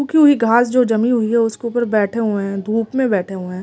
सूखी हुई घास जो जमी हुई है उसके ऊपर बैठे हुए हैं धूप में बैठे हुए हैं।